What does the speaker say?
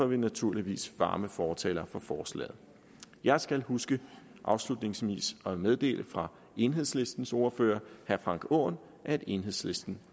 vi naturligvis varme fortalere for forslaget jeg skal huske afslutningsvis at meddele fra enhedslistens ordfører herre frank aaen at enhedslisten